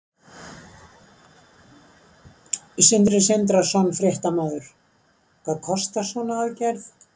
Sindri Sindrason, fréttamaður: Hvað kostar svona aðgerð?